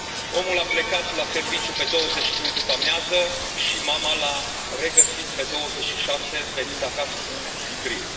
Omul a plecat la serviciu pe 22 după amiază și mama l a regăsit pe 26, venind acasă în sicriu.